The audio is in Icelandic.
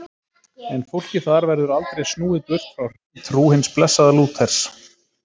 En fólki þar verður aldrei snúið burt frá hreinni trú hins blessaða Lúters.